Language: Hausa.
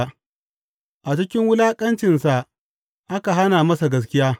A cikin wulaƙacinsa aka hana masa gaskiya.